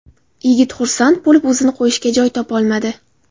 Yigit xursand bo‘lib, o‘zini qo‘yishga joy topolmadi.